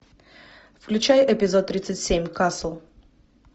включай эпизод тридцать семь касл